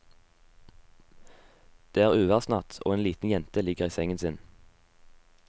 Det er uværsnatt og en liten jente ligger i sengen sin.